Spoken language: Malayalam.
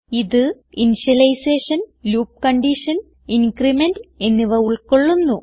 ഇത് ഇനിഷ്യലൈസേഷൻ ലൂപ്പ് കണ്ടീഷൻ ഇൻക്രിമെന്റ് എന്നിവ ഉൾകൊള്ളുന്നു